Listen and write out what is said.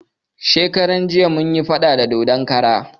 Shekaran jiya mun yi faɗa da dodon kara